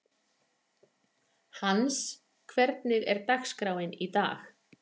Hans, hvernig er dagskráin í dag?